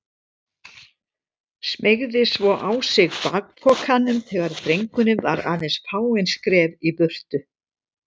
Smeygði svo á sig bakpokanum þegar drengurinn var aðeins fáein skref í burtu.